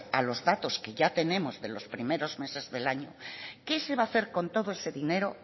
a los datos que ya tenemos de los primero meses del año qué se va a hacer con todo ese dinero